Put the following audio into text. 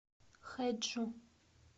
хэджу